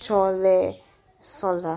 tsɔ lé sɔ la.